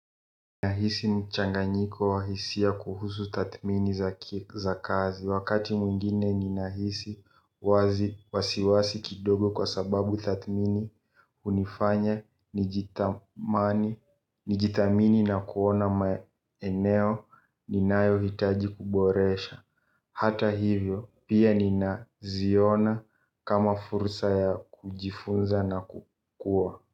Ninahisi mchanganyiko wa hisia kuhusu tathmini za kazi. Wakati mwingine ninahisi wasiwasi kidogo kwa sababu tathmini hunifanya, nijithamini na kuona maeneo, ninayohitaji kuboresha. Hata hivyo, pia ninaziona kama fursa ya kujifunza na kukua.